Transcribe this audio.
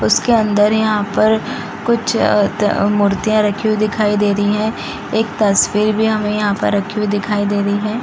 उसके अंदर यहां पर कुछ अ अ मूर्तियां रखी हुई दिखाई दे रहीं है एक तस्वीर भी हमे यहां पर रखी हुई दिखाई दे रही हैं।